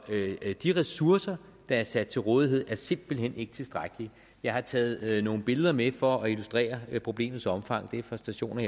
de ressourcer der er sat til rådighed er simpelt hen ikke tilstrækkelige jeg har taget nogle billeder med for at illustrere problemets omfang de er fra stationer